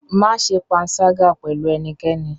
Má ṣe panṣágà pẹ̀lú ẹnikẹ́ni?